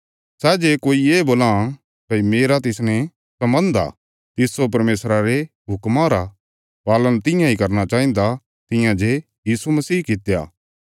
सै जे कोई ये बोलां भई मेरा तिसने सम्बन्ध आ तिस्सो परमेशरा रे हुक्मा रा पालन तियां इ करना चाहिन्दा तियां जे यीशु मसीह कित्या